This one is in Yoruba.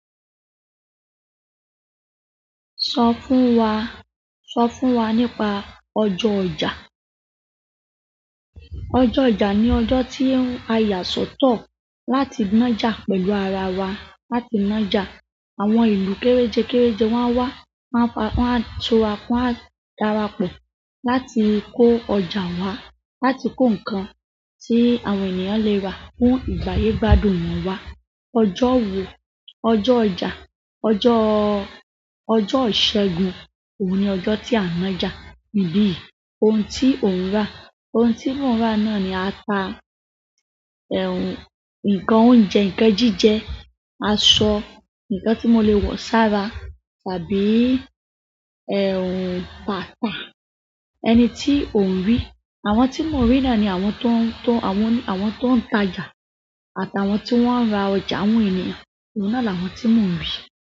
Sọ fún wa, sọ fún wa nípa ọjọ́ ọjà. Ọjọ́ ọjà ni ọjọ́ tí a yà sọ́tọ̀ láti nájà pẹ̀lú ara wa, láti nájà. Àwọn ìlú kéréje kéréje wọ́n á wá, wọ́n á darapọ̀ láti kó ọjà wá, láti kó ǹkan tí àwọn ènìyàn le rà fún ìgbàyè gbádùn wọ́n wá. Ọjọ́ wo, ọjọ́ ọjà, ọjọ́, ọjọ́ ìṣẹ́gun. Óun ni ọjọ́ tí a ń nájà. Ní ibí yi, ohun tí ò ń rà. Ohun tí mò ń rà náà ni ata, nǹkan oúnjẹ, nǹkan jíjẹ, aṣọ, nǹkan tí mo le wọ̀ sára tàbí bàtà. Ẹni tí ò ń rí. Àwọn tí mò ń rí náà ni àwọn tó, tó, àwọn, àwọn tó ń tajà àtàwọn tí wọ́n ń ra ọjà àwọn ènìyàn. Òun náà là àwọn tí mò ń rí.